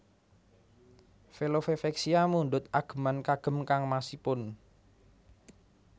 Velove Vexia mundhut ageman kagem kangmasipun